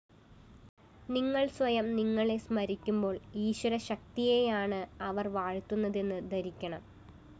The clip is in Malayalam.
നിങ്ങള്‍ സ്വയം നിങ്ങളെ സ്മരിക്കുമ്പോള്‍ ഈശ്വരശക്തിയെയാണ് അവര്‍ വാഴ്ത്തുന്നതെന്നു ധരിക്കണം